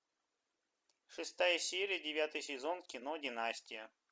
шестая серия девятый сезон кино династия